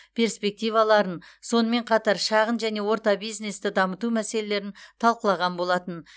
перспективаларын сонымен қатар шағын және орта бизнесті дамыту мәселелерін талқылаған болатын